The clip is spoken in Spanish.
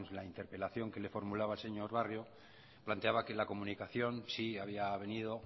la interpelación que le formulaba el señor barrio planteaba que la comunicación sí había venido